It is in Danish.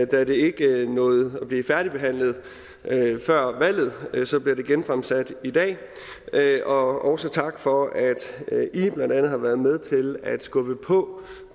da det ikke nåede at blive færdigbehandlet før valget bliver det genfremsat i dag også tak for at i blandt andet har været med til at skubbe på